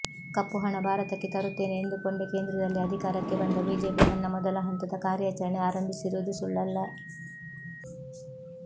ಕಪ್ಪು ಹಣ ಭಾರತಕ್ಕೆ ತರುತ್ತೇನೆ ಎಂದುಕೊಂಡೇ ಕೇಂದ್ರದಲ್ಲಿ ಅಧಿಕಾರಕ್ಕೆ ಬಂದ ಬಿಜೆಪಿ ತನ್ನ ಮೊದಲ ಹಂತದ ಕಾರ್ಯಾಚರಣೆ ಆರಂಭಿಸಿರುವುದು ಸುಳ್ಳಲ್ಲ